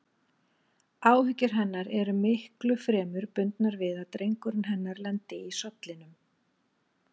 Áhyggjur hennar eru miklu fremur bundnar við að drengurinn hennar lendi í sollinum.